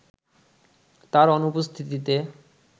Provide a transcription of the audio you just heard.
তার অনুপস্থিতিতে